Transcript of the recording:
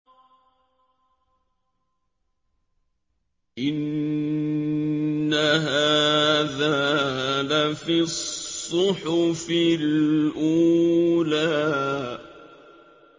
إِنَّ هَٰذَا لَفِي الصُّحُفِ الْأُولَىٰ